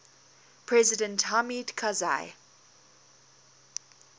president hamid karzai